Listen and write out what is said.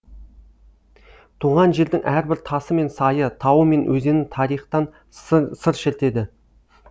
туған жердің әрбір тасы мен сайы тауы мен өзені тарихтан сыр шертеді